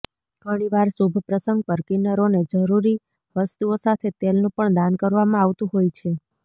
ઘણીવાર શુભ પ્રસંગ પર કિન્નરોને જરૂરી વસ્તુઓ સાથે તેલનું પણ દાન કરવામાં આવતું હોય છે